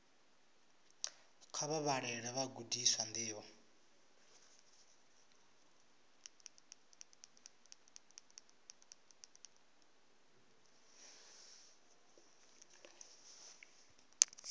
kha vha vhalele vhagudiswa ndivho